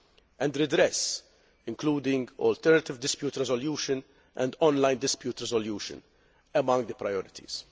and redress including alternative dispute resolution and on line dispute resolution among the priorities.